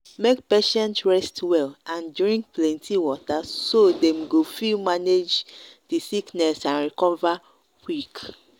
make patients rest well and drink plenty water so dem go fi manage di sickness and recover quick